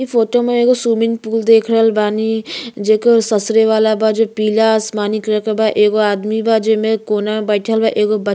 इ फोटो में एगो स्विमिंग पूल देख रहल बानी जेकर ससरे वाला बा जो पीला आसमानी कलर के बा। एगो आदमी बा जेमे कोना में बइठल बा। एगो ब --